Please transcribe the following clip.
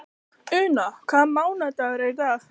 Una, hvaða mánaðardagur er í dag?